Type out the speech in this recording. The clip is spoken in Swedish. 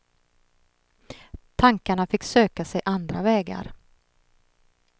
Tankarna fick söka sig andra vägar.